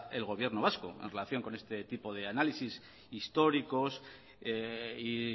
el gobierno vasco en relación con este tipo de análisis históricos y